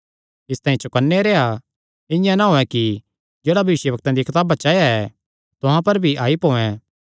इसतांई चौकन्ने रेह्आ इआं ना होयैं कि जेह्ड़ा भविष्यवक्ता दियां कताबा च आया ऐ तुहां पर भी आई पोयैं